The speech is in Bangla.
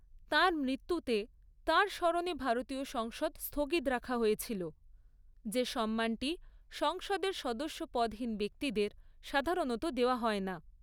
তাঁর মৃত্যুতে, তাঁর স্মরণে ভারতীয় সংসদ স্থগিত রাখা হয়েছিল, যে সম্মানটি সংসদের সদস্যপদহীন ব্যক্তিদের সাধারণত দেওয়া হয় না।